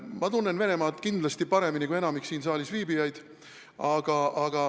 Ma tunnen Venemaad kindlasti paremini kui enamik siin saalis viibijaid.